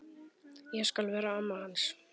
Ég skal vera amma hans.